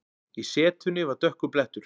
Í setunni var dökkur blettur.